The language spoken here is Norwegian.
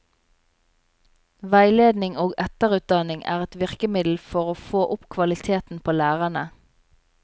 Veiledning og etterutdanning er et virkemiddel for å få opp kvaliteten på lærerne.